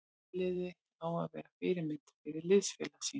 Fyrirliði á að vera fyrirmynd fyrir liðsfélaga sína.